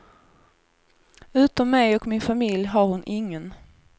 Utom mig och min familj har hon ingen.